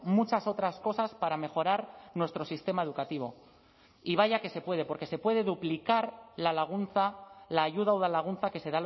muchas otras cosas para mejorar nuestro sistema educativo y vaya que se puede porque se puede duplicar la laguntza la ayuda udalaguntza que se